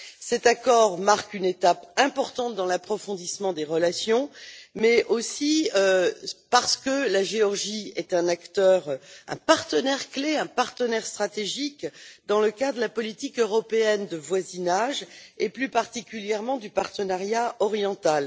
Cet accord marque une étape importante dans l'approfondissement des relations, mais aussi parce que la Géorgie est un acteur, un partenaire clé, un partenaire stratégique dans le cadre de la politique européenne de voisinage et plus particulièrement du partenariat oriental.